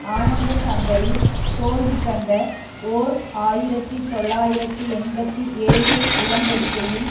ஆனந்தசங்கரி தோல்விகண்ட ஓர் ஆயிரத்தி தொள்ளாயிரத்து எண்பத்தி ஏழு உடன்படிக்கையின்